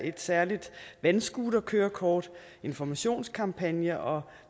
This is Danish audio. et særligt vandscooterkørekort og informationskampagner og